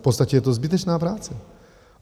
V podstatě je to zbytečná práce.